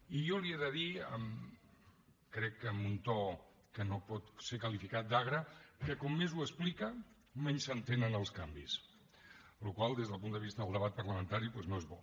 i jo li he de dir crec que amb un to que no pot ser qualificat d’agre que com més ho explica menys s’entenen els canvis la qual cosa des del punt de vista del debat parlamentari doncs no és bo